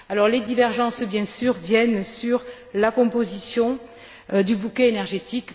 Les divergences, bien sûr, portent sur la composition du bouquet énergétique.